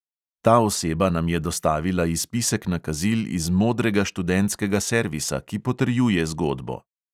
Ta oseba nam je dostavila izpisek nakazil iz modrega študentskega servisa, ki potrjuje zgodbo.